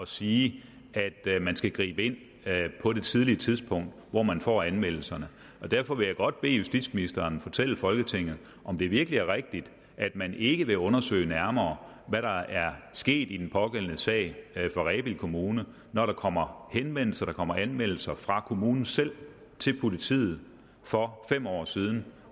sige at man skal gribe ind på det tidlige tidspunkt hvor man får anmeldelserne og derfor vil jeg godt bede justitsministeren fortælle folketinget om det virkelig er rigtigt at man ikke vil undersøge nærmere hvad der er sket i den pågældende sag fra rebild kommune når der kommer henvendelser når der kommer anmeldelser fra kommunen selv til politiet for fem år siden